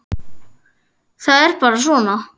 Það er bara svona!